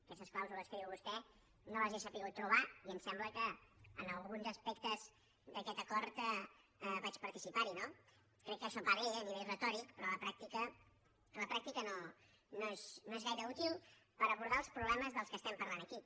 aquestes clàusules que diu vostè no les he sabut trobar i em sembla que en alguns aspectes d’aquest acord vaig participar hi no crec que això va bé a nivell retòric però a la pràctica no és gaire útil per abordar els problemes dels quals estem parlant aquí